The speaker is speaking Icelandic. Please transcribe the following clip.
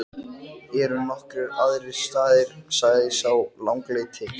Eru nokkrir aðrir staðir, sagði sá langleiti.